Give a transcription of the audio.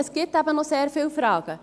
Es gibt eben noch sehr viele Fragen.